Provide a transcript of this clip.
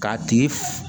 K'a tigi